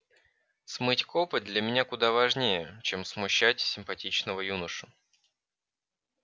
смыть копоть для меня куда важнее чем смущать симпатичного юношу